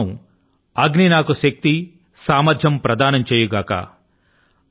దీని కోసం అగ్ని నాకు శక్తి ని మరియు సామర్థ్యాన్ని ప్రదానం చేయుగాక